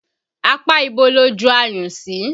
Apá ibo lo ju ayùn sí?